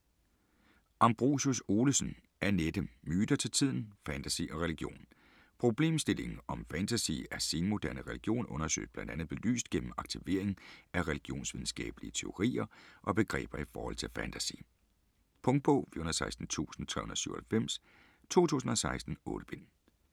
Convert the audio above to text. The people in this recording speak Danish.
Ambrosius-Olesen, Annette: Myter til tiden: fantasy og religion Problemstillingen, om fantasy er senmoderne religion, søges bl.a. belyst gennem aktivering af religionsvidenskabelige teorier og begreber i forhold til fantasy. Punktbog 416397 2016. 8 bind.